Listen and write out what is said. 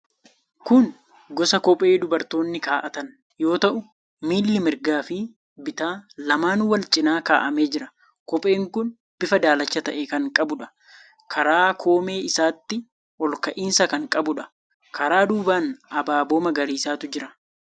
Kun gosa kophee dubartoonni kaa'atan yoo ta'u, miilli mirgaa fi bitaa lamaanuu wal cina kaa'amee jira. Kopheen kun bifa daalacha ta'e kan qabuudha. Karaa koomee isaatii olka'iinsa kan qabuudha. Karaa duubaan abaaboo magariisatu jira.